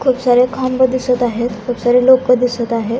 खूप सारे खांब दिसत आहेत खूप सारे लोक दिसत आहेत.